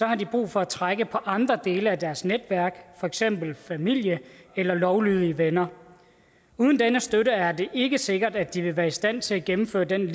har de brug for at trække på andre dele af deres netværk for eksempel familie eller lovlydige venner uden denne støtte er det ikke sikkert at de vil være i stand til at gennemføre den